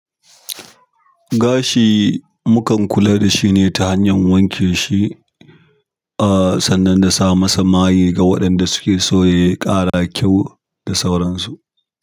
Gashi mu kan kula da shi ne ta hanyar wanke shi, ah sannan da sa masa mayi ga waɗanda suke so ya ƙara kyau da sauransu.